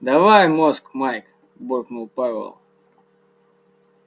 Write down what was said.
давай мозг майк буркнул пауэлл